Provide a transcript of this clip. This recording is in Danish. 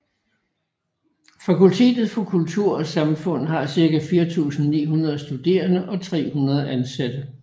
Fakultetet for Kultur og Samfund har cirka 4900 studerende og 300 ansatte